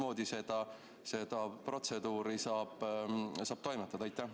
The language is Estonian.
Mismoodi seda protseduuri saab toimetada?